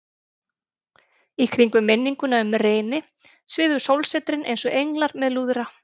Í kringum minninguna um Reyni svifu sólsetrin einsog englar með lúðra.